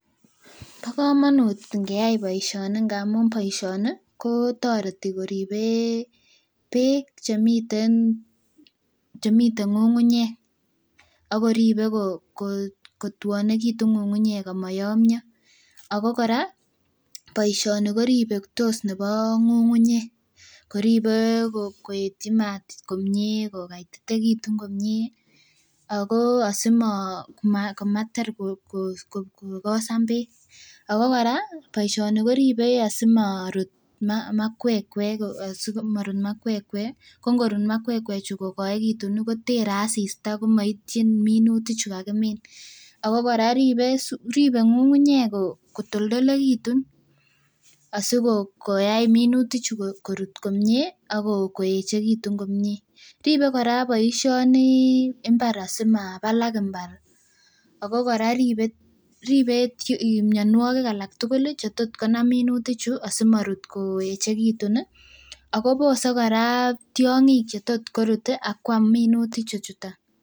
Bo komonut ngeyai boisioni ngamun boisioni kotoreti koribe beek chemiten ng'ung'unyek akoribe kotwonekitun ng'ung'unyek amoyomyo. Ako kora boisioni koribe nebo ng'ung'unyek koribe koetyi maat komie kokaititekitun komie ako asimo komater kokosan beek ako kora boisioni koribe asimorut makwekkwek asimorut makwekkwek ko ngorut makwekkwek chu kokoekitun ih kotere asista komoityin minutik chu kakimin ako kora ribe ng'ung'unyek kotoltolekitun asikoyai minutik chu korut komie ak koeechekitun komie. Ribe kora boisioni mbar asimabalak mbar ako kora ribe mionwogik alak tugul chetotkonam minutik chu asimorut koeechekitun ih akobose kora tiong'ik chetot korut akoam minutik chuton